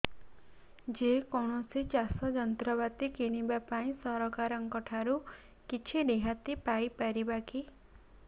ଯେ କୌଣସି ଚାଷ ଯନ୍ତ୍ରପାତି କିଣିବା ପାଇଁ ସରକାରଙ୍କ ଠାରୁ କିଛି ରିହାତି ପାଇ ପାରିବା କି